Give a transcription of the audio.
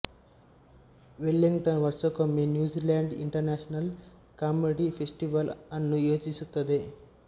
Wellington ವರ್ಷಕ್ಕೊಮ್ಮೆ New Zealand international comedy festival ಅನ್ನು ಆಯೋಜಿಸುತ್ತದೆ